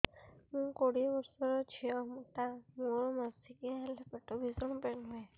ମୁ କୋଡ଼ିଏ ବର୍ଷର ଝିଅ ଟା ମୋର ମାସିକିଆ ହେଲେ ପେଟ ଭୀଷଣ ପେନ ହୁଏ